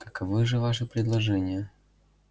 каковы же ваши предложения